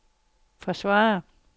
forsvare